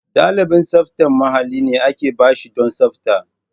Ɗalibin tsaftar mahalli ne aka ba shi don tsafta.